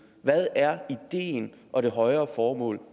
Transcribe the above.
hvad er ideen og det højere formål